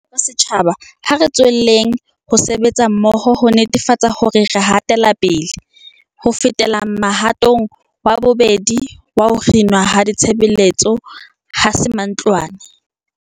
Jwaloka setjhaba, ha re tswelleng ho sebetsa mmoho ho netefatsa hore re hatela pele. Ho fetela mohatong wa bobedi wa ho kginwa ha ditshebeletso 'ha se mantlwane.'